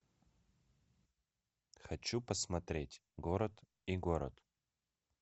хочу посмотреть город и город